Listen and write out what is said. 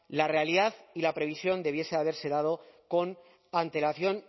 la realidad y la previsión debiese de haberse dado con antelación